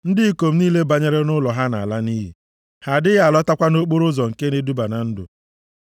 Ndị ikom niile banyere nʼụlọ ha na-ala nʼiyi. Ha adịghị alọtakwa nʼokporoụzọ nke na-eduba na ndụ.